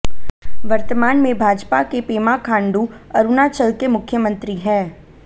वर्तमान में भाजपा के पेमा खांडू अरुणाचल के मुख्यमंत्री हैं